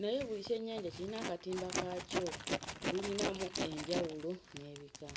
naye buli kyennyanja kiyina akatimba kaakyo bulinamu enjawulo n'ebika.